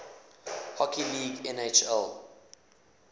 hockey league nhl